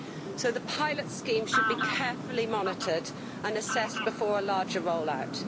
So the pilot schemes should be carefully monitored and assessed before a larger roll out.